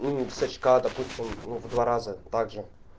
ну сочка допустим ну по два раза также